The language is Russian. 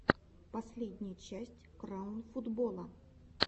последняя часть краун футбола